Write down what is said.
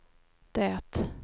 det